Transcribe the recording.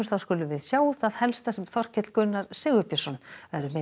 þá skulum við sjá það helsta sem Þorkell Gunnar Sigurbjörnsson verður með í